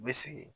N bɛ segin